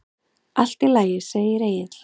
Allt í lagi, segir Egill.